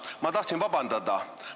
Ma tahtsin vabandust paluda.